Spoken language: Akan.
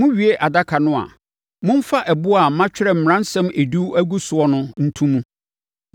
Mowie adaka no a, momfa ɛboɔ a matwerɛ Mmaransɛm Edu no agu so no nto mu.